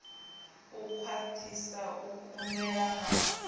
u khwathisa u kungela na